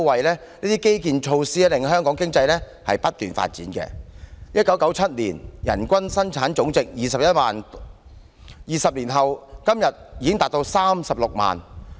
這些基建及措施，令香港經濟不斷發展 ，1997 年的人均生產總值為21萬元 ，20 年後的今天已達36萬元。